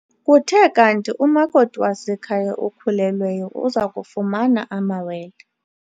Kuthe kanti umakoti wasekhaya okhulelweyo uza kufumana amawele.